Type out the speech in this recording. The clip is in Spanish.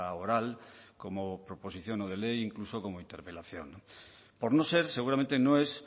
oral como proposición no de ley incluso como interpelación por no ser seguramente no es